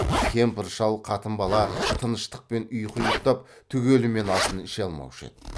кемпір шал қатын бала тыныштықпен ұйқы ұйықтап түгелімен асын іше алмаушы еді